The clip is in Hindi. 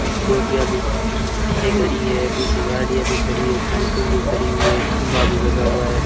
स्कूटीया भी पीछे खड़ी है पीछे गाड़ीया भी खड़ी है साइकिल भी खड़ी हुई है खंबा भी लगा हुआ है।